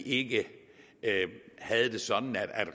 ikke havde det sådan at